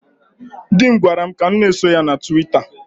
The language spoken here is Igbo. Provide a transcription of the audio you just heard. Dị m gwara m ka m na-eso ya na Tụwita.